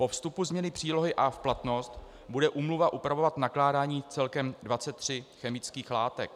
Po vstupu změny přílohy A v platnost bude úmluva upravovat nakládání celkem 23 chemických látek.